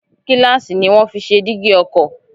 Gíláàsì ni wọ́n fi ṣe dígí ọkọ̀